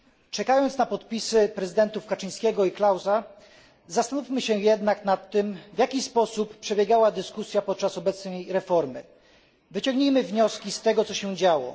Czekając na podpisy prezydentów Kaczyńskiego i Klausa zastanówmy się jednak nad tym, w jaki sposób przebiegała dyskusja podczas obecnej reformy, wyciągnijmy wnioski z tego, co się działo.